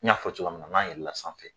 N y'a fɔ cogoya min na n b'a yir'i la sanfɛ